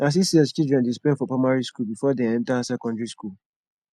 na six years children dey spend for primary skool before dem enta secondary skool